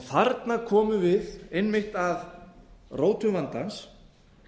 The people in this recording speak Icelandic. þarna komum við einmitt að rótum vandans